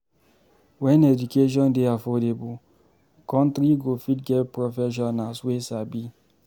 When education dey affordable, country go fit get professionals wey sabi